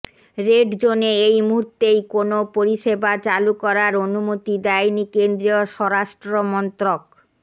red জোনে এই মুহূর্তেই কোনও পরিষেবা চালু করার অনুমতি দেয়নি কেন্দ্রীয় স্বরাষ্ট্রমন্ত্রক